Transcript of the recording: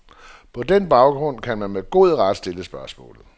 På den baggrund kan man med god ret stille spørgsmålet.